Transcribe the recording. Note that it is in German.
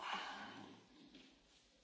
Herr Präsident, meine Damen und Herren!